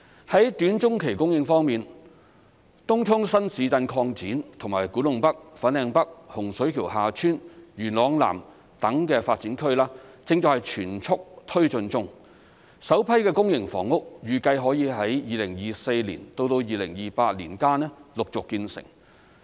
在短中期供應方面，東涌新市鎮擴展及古洞北/粉嶺北、洪水橋/厦村、元朗南等的發展區正在全速推進中，首批公營房屋預計可於2024年至2028年間陸續建成。